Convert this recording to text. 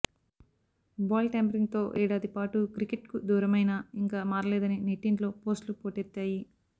బాల్టాంపరింగ్తో ఏడాది పాటు క్రికెట్కు దూరమైనా ఇంకా మారలేదని నెట్టింట్లో పోస్ట్లు పోటెత్తాయి